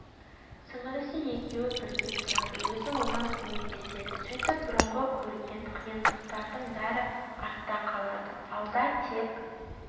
сіңілісі екеуі бірге тұрады өзі оған көмектеседі сөйтіп бұрынғы көрген қиындықтардың бәрі артта қалады алда тек